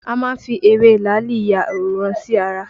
A má ń fi ewé làálì ya àwòrán sí ara